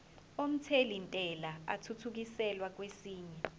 omthelintela athuthukiselwa kwesinye